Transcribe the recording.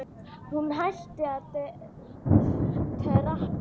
Hún hætti að trampa.